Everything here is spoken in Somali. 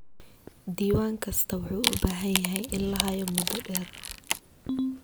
Diiwaan kasta wuxuu u baahan yahay in la hayo muddo dheer.